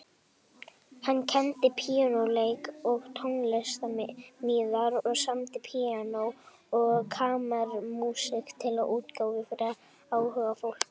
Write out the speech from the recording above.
Hann kenndi píanóleik og tónsmíðar og samdi píanó- og kammermúsík til útgáfu fyrir áhugafólk.